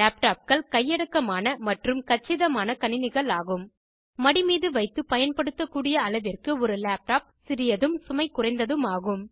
லேப்டாப்கள் கையடக்கமான மற்றும் கச்சிதமான கணினிகள் ஆகும் ஒருவரின் மடி மீது வைத்து பயன்படுத்தக்கூடிய அளவிற்கு ஒரு லேப்டாப் சிறியதும் சுமைகுறைந்ததும் ஆகும்